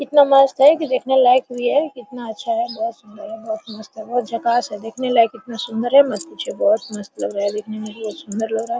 इतना मस्त है कि देखने लायक भी है कितना अच्छा है बहोत सुंदर है बहोत मस्त है बहोत झकास है देखने लायक इतना सुंदर है मत पूछिये बहोत मस्त लग रहा है देखने में बहोत सुन्दर लग रहा है।